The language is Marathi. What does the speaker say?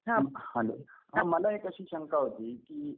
हं हॅलो मला एक अशी शंका होती